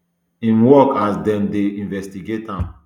im work as dem dey investigate am